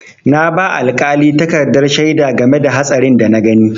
Na ba alƙali takardar shaida game da hatsarin da na gani.